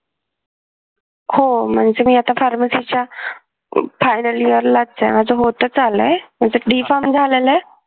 हो म्हणजे मी आता pharmacy च्या final year लाच आहे माझं होतंच आलंय माझं B farm झालेल आहे